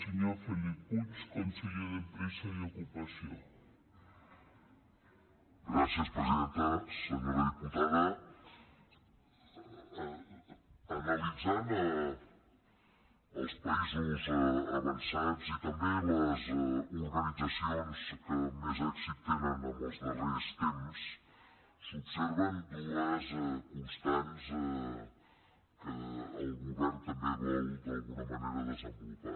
senyora diputada analitzant els països avançats i també les organitzacions que més èxit tenen en els darrers temps s’observen dues constants que el govern també vol d’alguna manera desenvolupar